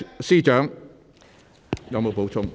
司長，你有否補充？